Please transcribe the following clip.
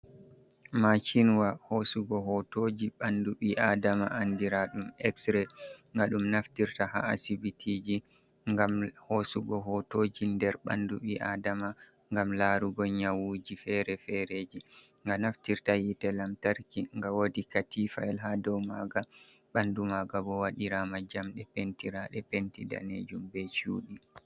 Maachinwa hoosugo hotoji ɓandu ɓii Aadama, andiraaɗum eksre, nga ɗum naftirta ha asibitiiji ngam hoosugo hotoji nder ɓandu ɓii Aadama ngam laarugo nyawuuji fere-fereji, nga naftirta hiite lamtarki, nga waɗi katiifa yel ha dow maaga. Ɓandu maaga bo waɗiraama jamɗe pentiraaɗe penti daneejum be chuudɗi.